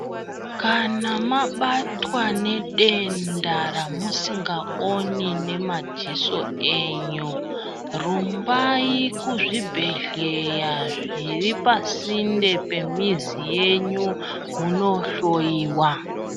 Kana mabatwa nedenda ramusingaoni nemadziso enyu rumbai kuzvibhedhlera zviripa sinde pemizi yenyu munohloiwa.